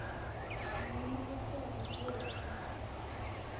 ncono luhlelo lwetfu